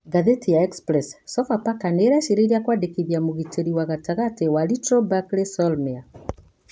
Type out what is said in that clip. (Ngathĩti ya Express) Sofapaka nĩ ĩreciria kũadekithia Mũgiteri wa gatagati wa Little Bakley Soulmare.